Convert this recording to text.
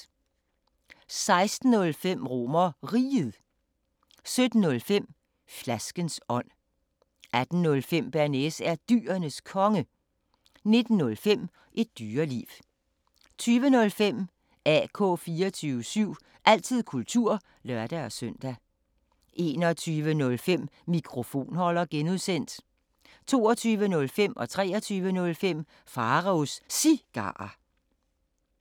16:05: RomerRiget 17:05: Flaskens ånd 18:05: Bearnaise er Dyrenes Konge 19:05: Et Dyreliv 20:05: AK 24syv – altid kultur (lør-søn) 21:05: Mikrofonholder (G) 22:05: Pharaos Cigarer 23:05: Pharaos Cigarer